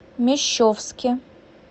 мещовске